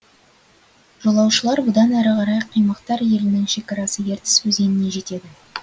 жолаушылар бұдан әрі қарай қимақтар елінің шекарасы ертіс өзеніне жетеді